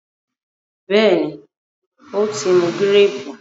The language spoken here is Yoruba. béèni o tí mú Gírèèpù?